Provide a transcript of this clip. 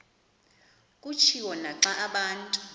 kutshiwo naxa abantu